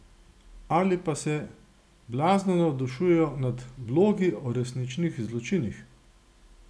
Ali pa se blazno navdušujejo nad blogi o resničnih zločinih?